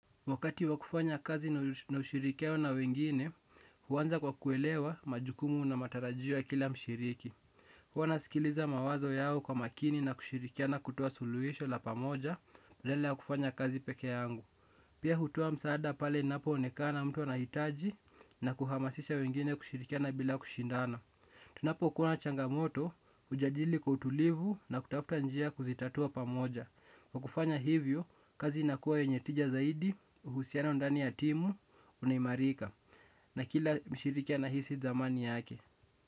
Wakati wakufanya kazi na ushirikiano na wengine, huwanza kwa kuelewa majukumu na matarajio ya kila mshiriki. Huwa nasikiliza mawazo yao kwa makini na kushirikiana kutoa suluhisho la pamoja, badala ya kufanya kazi peke yangu. Pia hutoa msaada pale inapo onekana mtu anahitaji na kuhamasisha wengine kushirikiana bila kushindana. Tunapo kuwa na changamoto, hujadili kwa utulivu na kutafuta njia ya kuzitatua pamoja. Kwa kufanya hivyo, kazi inakuwa yonye tija zaidi, uhusiana undani ya timu, unaimarika. Na kila mshiriki anahisi dhamani yake.